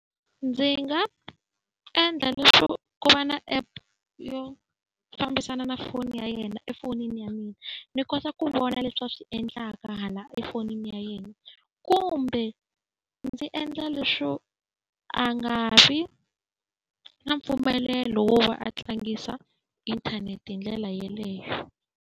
Ndzi nga endla leswo ku va na app yo fambisana na foni ya yena efonini ya mina, ni kota ku vona leswi va swi endlaka hala efonini ya yena. Kumbe ndzi endla leswo a nga vi na mpfumelelo wo va a tlangisa inthanete hi ndlela yeleyo.